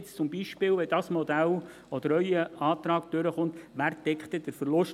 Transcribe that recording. Wenn jetzt zum Beispiel dieses Modell, oder wenn Ihr Antrag durchkommt, wer deckt dann den Verlust?